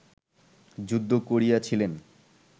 যুদ্ধ করিয়াছিলেন